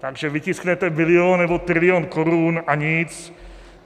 Takže vytisknete bilion nebo trilion korun, a nic.